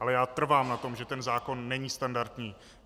Ale já trvám na tom, že ten zákon není standardní.